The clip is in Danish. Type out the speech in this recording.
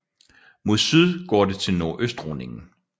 Mod syd går det til Nordøstrundingen